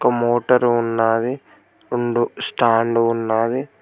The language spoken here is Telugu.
మోటర్ ఉన్నది రెండు స్టాండు ఉన్నది.